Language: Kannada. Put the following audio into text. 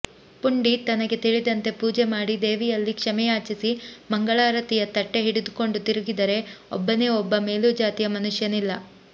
ಪುಂಡಿ ತನಗೆ ತಿಳಿದಂತೆ ಪೂಜೆಮಾಡಿ ದೇವಿಯಲ್ಲಿ ಕ್ಷಮೆಯಾಚಿಸಿ ಮಂಗಳಾರತಿಯ ತಟ್ಟೆ ಹಿಡಿದುಕೊಂಡು ತಿರುಗಿದರೆ ಒಬ್ಬನೇ ಒಬ್ಬ ಮೇಲುಜಾತಿಯ ಮನುಷ್ಯನಿಲ್ಲ